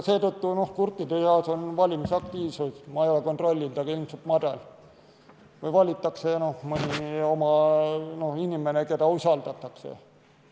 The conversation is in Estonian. Seetõttu on kurtide seas valimisaktiivsus – ma ei ole küll kontrollinud – ilmselt madal või valitakse mõni inimene, keda usaldatakse.